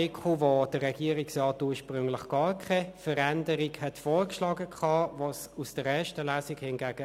Darauf werde ich ganz am Schluss nochmals eingehen.